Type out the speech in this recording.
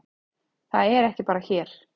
Það er ekki bara hér.